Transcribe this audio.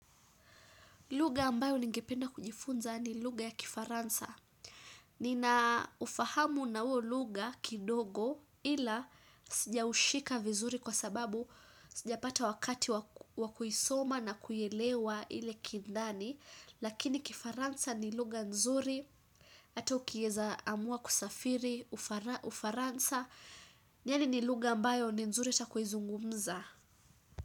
Lugha ambayo ningependa kujifunza ni lugha ya kifaransa. Nina ufahamu na huo lugha kidogo ila sijaushika vizuri kwa sababu sijapata wakati wa kuisoma na kuielewa ile kindani. Lakini kifaransa ni lugha nzuri ata ukieza amua kusafiri ufaransa yaani ni lugha ambayo ni nzuri hata kuizungumza.